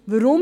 Weshalb?